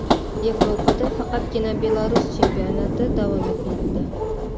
Yevropada faqatgina Belarus chempionati davom etmoqda.